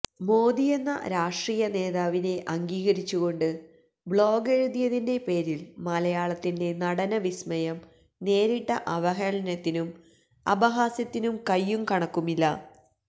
മോദിയെന്ന രാഷ്ട്രീയനേതാവിനെ അംഗീകരിച്ചുക്കൊണ്ട് ബ്ലോഗെഴുതിയതിന്റെ പേരിൽ മലയാളത്തിന്റെ നടനവിസ്മയം നേരിട്ട അവഹേളനത്തിനും അപഹാസ്യത്തിനും കയ്യും കണക്കുമില്ല